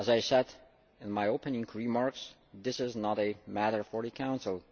As I said in my opening remarks, this is not a matter for the Council.